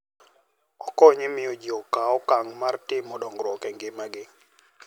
Okonyo e miyo ji okaw okang' mar timo dongruok e ngimagi.